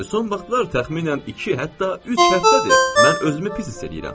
Son vaxtlar təxminən iki, hətta üç həftədir mən özümü pis hiss eləyirəm.